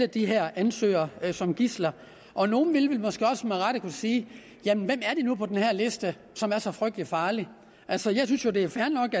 de her ansøgere som gidsler og nogle ville måske også med rette kunne sige jamen hvem er det nu på den her liste som er så frygtelig farlig altså jeg synes jo det er fair nok